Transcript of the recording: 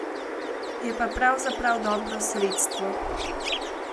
Je pa pravzaprav dobro sredstvo.